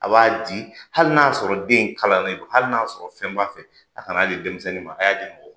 A b'a di hali n'a sɔrɔ den kalannen don hali n'a sɔrɔ fɛn b'a fɛ a' kan'a di denmisɛnnin ma a' y'a di mɔgɔ